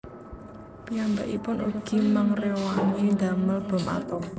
Piyambakipun ugi mangréwangi ndamel bom atom